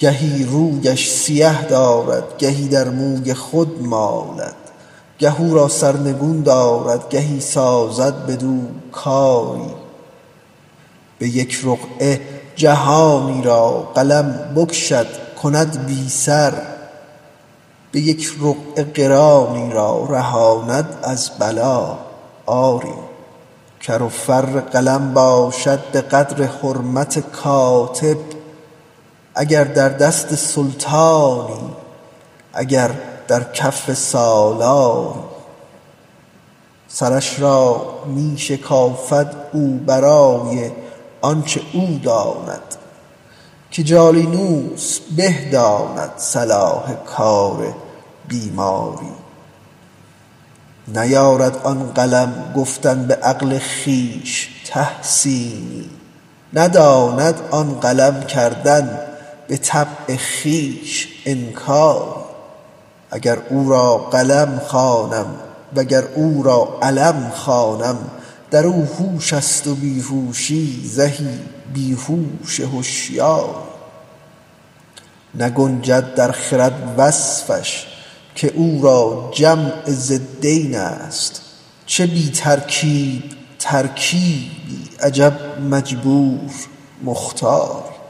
گهی رویش سیه دارد گهی در موی خود مالد گه او را سرنگون دارد گهی سازد بدو کاری به یک رقعه جهانی را قلم بکشد کند بی سر به یک رقعه قرانی را رهاند از بلا آری کر و فر قلم باشد به قدر حرمت کاتب اگر در دست سلطانی اگر در کف سالاری سرش را می شکافد او برای آنچ او داند که جالینوس به داند صلاح حال بیماری نیارد آن قلم گفتن به عقل خویش تحسینی نداند آن قلم کردن به طبع خویش انکاری اگر او را قلم خوانم و اگر او را علم خوانم در او هوش است و بی هوشی زهی بی هوش هشیاری نگنجد در خرد وصفش که او را جمع ضدین است چه بی ترکیب ترکیبی عجب مجبور مختاری